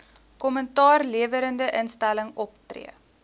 kommentaarlewerende instelling optree